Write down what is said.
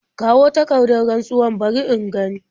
Kawo takardar rantsuwar bari in gani.